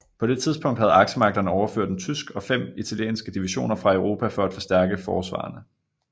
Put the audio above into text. På det tidspunkt havde aksemagterne overført en tysk og fem italienske divisioner fra Europa for at forstærke forsvarerne